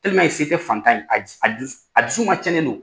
se tɛ fantan ye a dusu a dusu a dusu fana cɛnlen do.